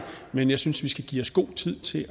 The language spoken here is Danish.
men jeg synes vi skal give os god tid til